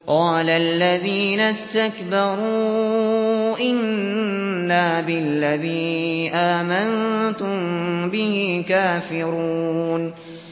قَالَ الَّذِينَ اسْتَكْبَرُوا إِنَّا بِالَّذِي آمَنتُم بِهِ كَافِرُونَ